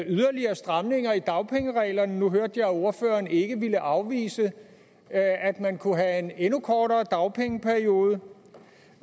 yderligere stramninger i dagpengereglerne nu hørte jeg ordføreren ikke ville afvise at man kunne have en endnu kortere dagpengeperiode